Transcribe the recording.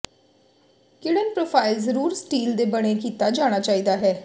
ਿਕੜਨ profile ਜ਼ਰੂਰ steel ਦੇ ਬਣੇ ਕੀਤਾ ਜਾਣਾ ਚਾਹੀਦਾ ਹੈ